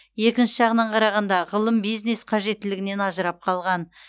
екінші жағынан қарағанда ғылым бизнес қажеттілігінен ажырап қалған